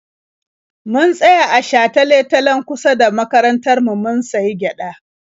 Mun tsaya a shatale-talen kusa da makarantar mu mun sayi gyaɗa.